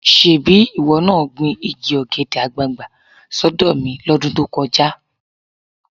Ṣebí ìwọ náà gbin igi ọ̀gẹ̀dẹ̀ àgbààgbà sọ́dọ̀ mi lọ́dún tó kọjá.